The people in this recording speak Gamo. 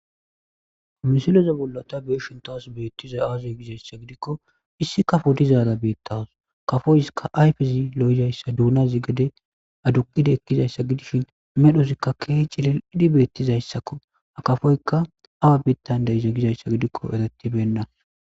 Misileze bollata beeshin tawas beettizay aaziy gizayssa gidikko issi kafo dizaara beettawus kafoyska ayfezi lo7izayssa duunazi gade aduqide ekkizayssa gidishin medhosikka ke cilil idhi beettizayssakko a kafoykka awa beettandeyize gizayssa gidikko eretibennas.